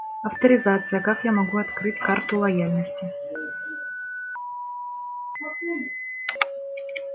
авторизация как я могу открыть карту лояльности